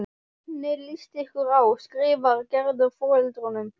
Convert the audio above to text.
Hvernig líst ykkur á? skrifar Gerður foreldrunum.